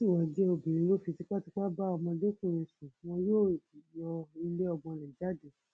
bó bá sì wáá jẹ obìnrin ló fi tipátipá bá ọmọdékùnrin sùn wọn yóò yọ ilé ọmọ rẹ jáde